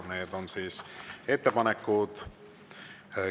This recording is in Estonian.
Need on identsed.